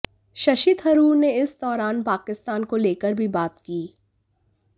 शशि थरूर ने इस दौरान पाकिस्तान को लेकर भी बात की